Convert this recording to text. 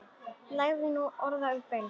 Lagði nú orð í belg.